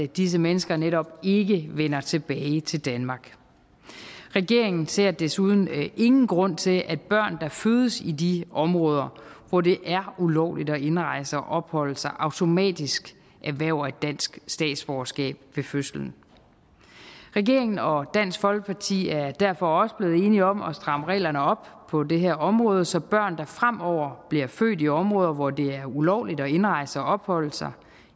disse mennesker netop ikke vender tilbage til danmark regeringen ser desuden ingen grund til at børn der fødes i de områder hvor det er ulovligt at indrejse og opholde sig automatisk erhverver et dansk statsborgerskab ved fødslen regeringen og dansk folkeparti er derfor også blevet enige om at stramme reglerne op på det her område så børn der fremover bliver født i områder hvor det er ulovligt at indrejse og opholde sig